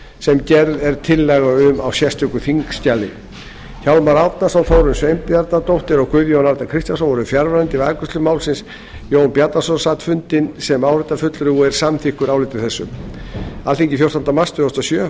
sem gerð er tillaga um á sérstöku þingskjali hjálmar árnason þórunn sveinbjarnardóttir og guðjón a kristjánsson voru fjarverandi við afgreiðslu málsins jón bjarnason sat fundi nefndarinnar sem áheyrnarfulltrúi og er samþykkur áliti þessu undir álitið sem er dagsett fjórtánda mars tvö þúsund og sjö rita háttvirtir þingmenn